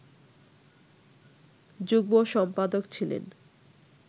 যুগ্ম-সম্পাদক ছিলেন